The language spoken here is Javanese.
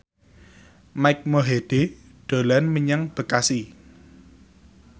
Mike Mohede dolan menyang Bekasi